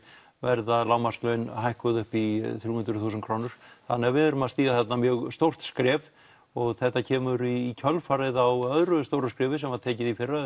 verða lágmarkslaun hækkuð upp í þrjú hundruð þúsund krónur þannig að við erum að stíga þarna mjög stórt skref og þetta kemur í kjölfarið á öðru stóru skrefi sem var tekið í fyrra